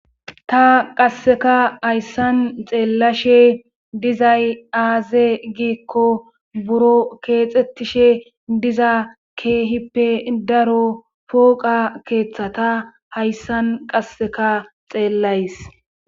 ta qasseka hayssan xeellashe dizay aaze giikko buro keexettishe diza keehippe daro pooqa keeththata hayssan qasseka xeellays.